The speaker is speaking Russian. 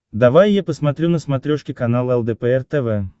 давай я посмотрю на смотрешке канал лдпр тв